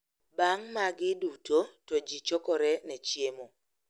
Bang` magi duto to ji chokore ne chiemo.